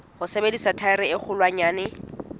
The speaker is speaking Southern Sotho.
ho sebedisa thaere e kgolwanyane